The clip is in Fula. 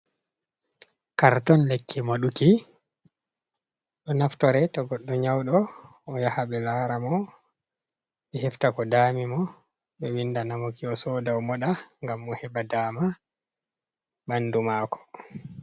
Karton lekke moduki, ɗo naftore to goɗdo nyaudo, o yaha be lara mo, be hefta ko dami mo, be vinda namuki o soda moda gam o heba dama bandu mako.